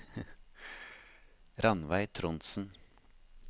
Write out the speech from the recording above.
Rannveig Trondsen